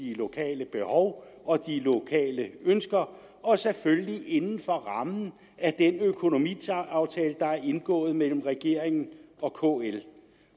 de lokale behov og de lokale ønsker og selvfølgelig inden for rammen af den økonomiaftale der er indgået mellem regeringen